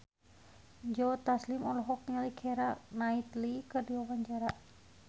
Joe Taslim olohok ningali Keira Knightley keur diwawancara